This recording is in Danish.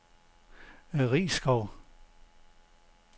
Risskov